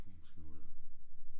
Den var måske god der